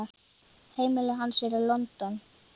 Heimili hans er í London.